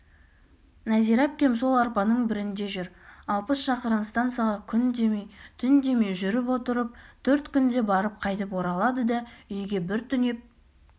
нәзира әпкем сол арбаның бірінде жүр алпыс шақырым станцияға күн демей түн демей жүріп отырып төрт күнде барып қайтып оралады да үйге бір түнеп